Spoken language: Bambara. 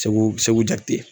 Segu Segu Jakite.